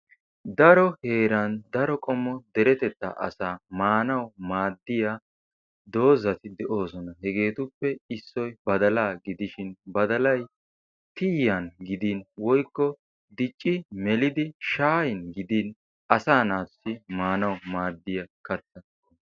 dari heeran daro qommo deretetta asa maanaw maaddiya dooza qoommoti de'oosona. hegetuppe issoy badala, badalay tiyyan gidin woykko dicci melid shayyin gidin asayyo maanaw maaddiya kattaa.